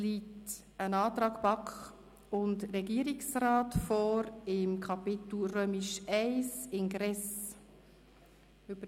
Vonseiten der BaK und dem Regierungsrat liegt ein Antrag zum Ingress, zu Kapitel I. vor.